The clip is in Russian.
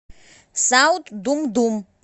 саут думдум